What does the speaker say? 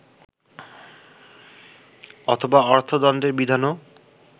অথবা অর্থদণ্ডের বিধানও